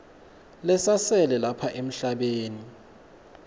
lesasele lapha emhlabeni